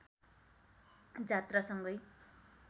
जात्रासँगै